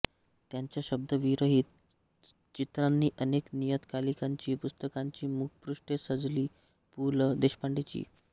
त्यांच्या शब्दविरहित चित्रांनी अनेक नियतकालिकांची पुस्तकांची मुखपृष्ठे सजली पु ल देशपांडे चिं